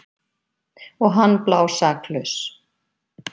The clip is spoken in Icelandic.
Og hann blásaklaus.